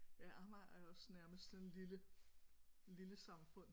Ja Amager er også nærmest sådan et lille lille samfund